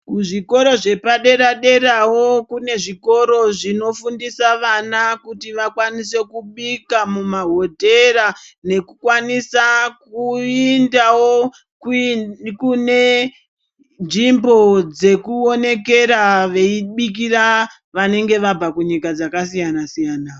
Kuzvikora zvepadera derawo kune zvikoro zvinofundisa vana kuti vakwanise kubika mumahotera nekukwanisa kuindawo kune nzvimbo dzekuonekera veibikira vanenge vabva kunyika dzakasiyana-siyana.